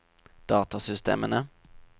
datasystemene